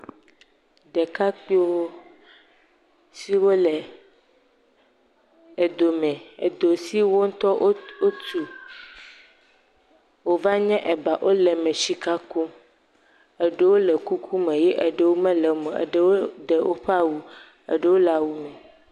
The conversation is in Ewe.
Ɖekakpuiwo, siwo le edo me, edo si wo ŋutɔ wotu, wòva nye eba wole me le sika kum, eɖewo le kuku me, eɖewo mele me o, eɖewo ɖe woƒe awu, eɖewo le awu me.